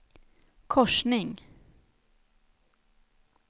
korsning